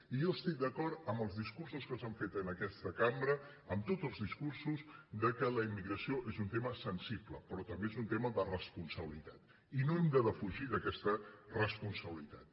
i jo es·tic d’acord amb els discursos que s’han fet en aquesta cambra amb tots els discursos que la immigració és un tema sensible però també és un tema de respon·sabilitat i no hem de defugir aquesta responsabilitat